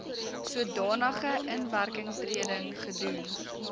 sodanige inwerkingtreding gedoen